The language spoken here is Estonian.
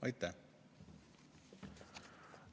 Aitäh!